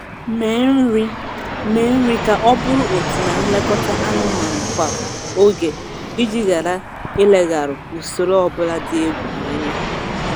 Mee nri Mee nri ka ọ bụrụ otu na nlekọta anụmanụ kwa oge iji ghara ilegharụ usoro ọbụla dị egwu anya